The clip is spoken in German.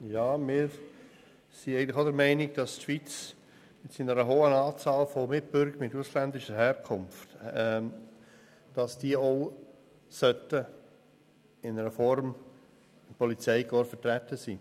Wir sind auch der Meinung, dass die Schweiz aufgrund des hohen Anteils an Mitbürgern ausländischer Herkunft, diesen die Möglichkeit geben sollte, in einer Form im Polizeikorps vertreten zu sein.